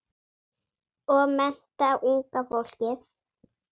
Og mennta unga fólkið.